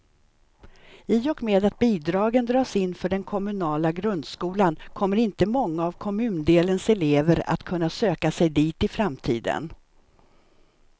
I och med att bidragen dras in för den kommunala grundskolan kommer inte många av kommundelens elever att kunna söka sig dit i framtiden.